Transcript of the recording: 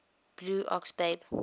blue ox babe